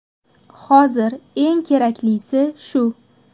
Hozir eng keraklisi shu.